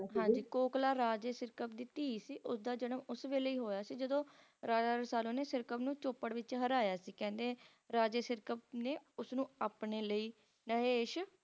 ਹਾਂਜੀ Kokla ਰਾਜੇ Sirkap ਦੀ ਧੀ ਸੀ ਉਸਦਾ ਜਨਮ ਉਸ ਵੇਲੇ ਹੀ ਹੋਇਆ ਸੀ ਜਦੋਂ Raja Rasalu ਨੇ Sirkap ਨੂੰ Chopad ਵਿੱਚ ਹਰਾਇਆ ਸੀ ਕਹਿੰਦੇ Raja Sirkap ਨੇ ਉਸਨੂੰ ਆਪਣੇ ਲਈ ਨਹੇਸ਼